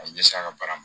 A ye ɲɛsin a ka baara ma